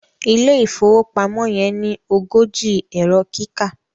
ilé ìfowópamọ́ yen ní ogójì Ẹ̀rọ kíkà